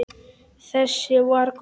Þessi var góður!